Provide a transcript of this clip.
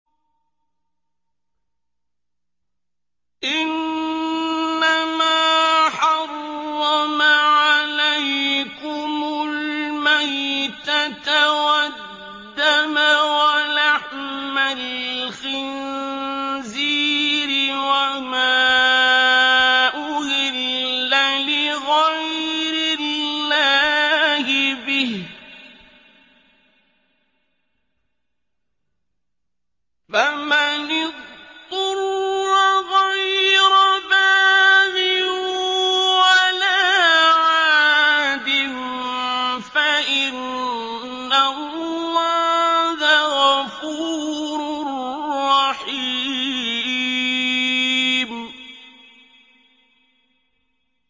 إِنَّمَا حَرَّمَ عَلَيْكُمُ الْمَيْتَةَ وَالدَّمَ وَلَحْمَ الْخِنزِيرِ وَمَا أُهِلَّ لِغَيْرِ اللَّهِ بِهِ ۖ فَمَنِ اضْطُرَّ غَيْرَ بَاغٍ وَلَا عَادٍ فَإِنَّ اللَّهَ غَفُورٌ رَّحِيمٌ